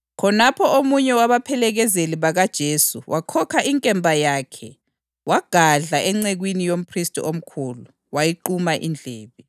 Khonapho omunye wabaphelekezeli bakaJesu wakhokha inkemba yakhe wagadla encekwini yomphristi omkhulu, wayiquma indlebe.